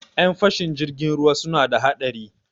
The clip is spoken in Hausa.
Ƴan fashin jirgin ruwa suna da haɗari.